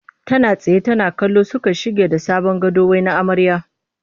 Tana tsaye tana kallo suka shige da sabon gado wai na amarya ne